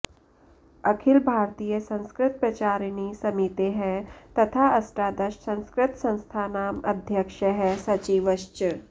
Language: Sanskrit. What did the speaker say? अखिल भारतीय संस्कृत प्रचारिणी समितेः तथा अष्टादश संस्कृत संस्थानाम् अध्यक्षः सचिवश्च